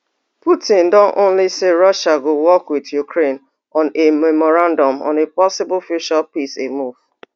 putin don only say russia go work with ukraine on a memorandum on a possible future peace a move